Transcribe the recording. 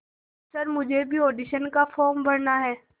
sir मुझे भी audition का फॉर्म भरना है